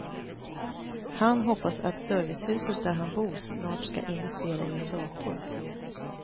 Han hoppas att servicehuset där han bor snart ska investera i en dator.